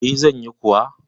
E, zan yi kuwa.